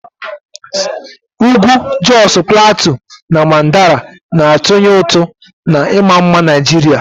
Ugwu Josu Platiu na Mandara na-atụnye ụtụ na ịma mma Naijiria.